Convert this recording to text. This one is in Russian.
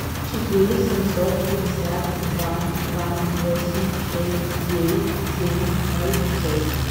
четыре семьсот пятьдесят два два восемь шесть девять семь ноль шесть